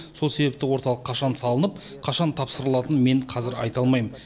сол себепті орталық қашан салынып қашан тапсырылатынын мен қазір айта алмайм